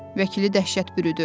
Vəkili dəhşət bürüdü.